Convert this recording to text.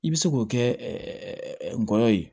I bɛ se k'o kɛ ngɔyɔ ye